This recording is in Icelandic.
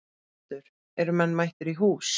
Höskuldur, eru menn mættir í hús?